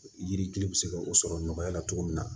Yiri gili bɛ se ka o sɔrɔ nɔgɔya la cogo min na